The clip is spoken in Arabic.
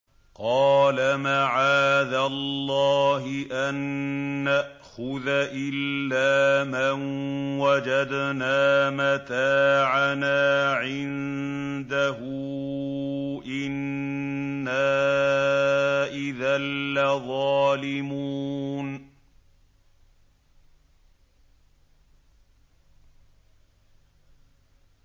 قَالَ مَعَاذَ اللَّهِ أَن نَّأْخُذَ إِلَّا مَن وَجَدْنَا مَتَاعَنَا عِندَهُ إِنَّا إِذًا لَّظَالِمُونَ